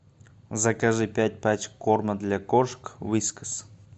закажи пять пачек корма для кошек вискас